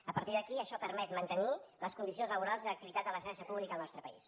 a partir d’aquí això permet mantenir les condicions laborals i l’activitat de la xarxa pública al nostre país